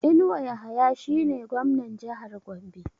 Inuwa Yahaya shi ne Gwamnan Jahar Gombe